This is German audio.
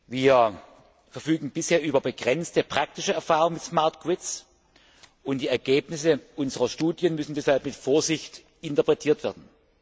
Wir verfügen bisher über begrenzte praktische Erfahrung mit und die Ergebnisse unserer Studien müssen deshalb mit Vorsicht interpretiert werden.